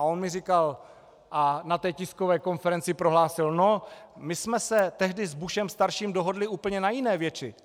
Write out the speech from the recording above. A on mi říkal a na té tiskové konferenci prohlásil: "No, my jsme se tehdy s Bushem starším dohodli úplně na jiné věci.